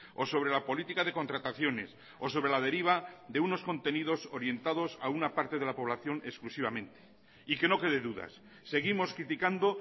o sobre la política de contrataciones o sobre la deriva de unos contenidos orientados a una parte de la población exclusivamente y que no quede dudas seguimos criticando